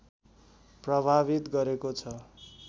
प्रभावित गरेको छ